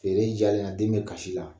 Feere diyalen na den bɛ kasi la